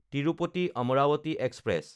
তিৰুপতি–আম্ৰাৱতী express